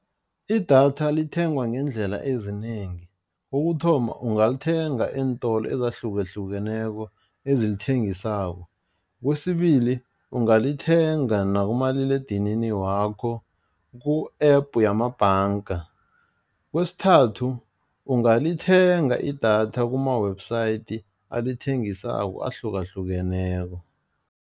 Idatha lithengwa ngeendlela ezinengi, kokuthoma ungalithenga eentolo ezahlukahlukeneko ezilithengisako, kwesibili ungalithenga nakumaliledinini wakho ku-app wamabhanga, kwesithathu ungalithenga idatha kuma-website alithengisako ahlukahlukeneko.